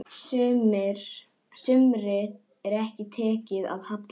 Sumri er tekið að halla.